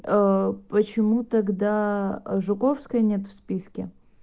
почему тогда жуковской нет в списке